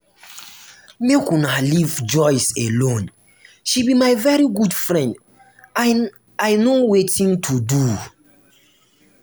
make una leave joyce alone she be my very good friend and i no wetin to do